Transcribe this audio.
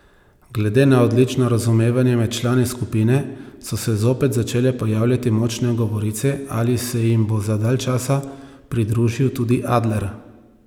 Glede na odlično razumevanje med člani skupine so se zopet začele pojavljati močne govorice, ali se jim bo za dalj časa pridružil tudi Adler.